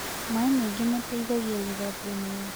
Mae maĩngĩ mateĩthagĩa gũthambĩa mwĩrĩ